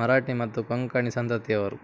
ಮರಾಠಿ ಮತ್ತು ಕೊಂಕಣಿ ಸಂತತಿಯವರು